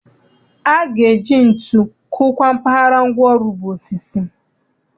A ga-eji ntu kụkwaa mpaghara ngwaọrụ bụ osisi.